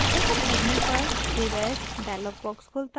as करने पर save as dialog box खुलता है